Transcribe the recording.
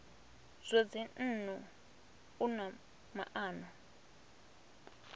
zwa dzinnu u na maana